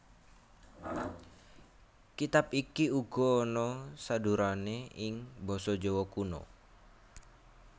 Kitab iki uga ana sadhurané ing basa Jawa Kuna